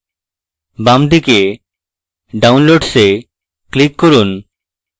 বাম দিকে downloads এ click করুন